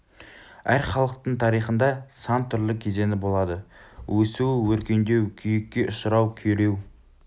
әр халықтың тарихында сан түрлі кезеңі болады өсу өркендеу күйікке ұшырау күйреу